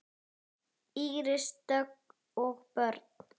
Íris Dögg og börn.